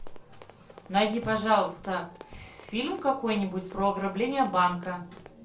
найди пожалуйста фильм какой нибудь про ограбление банка